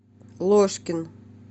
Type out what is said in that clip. ложкин